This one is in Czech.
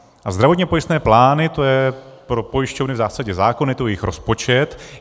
A zdravotně pojistné plány, to je pro pojišťovny v zásadě zákon, je to jejich rozpočet.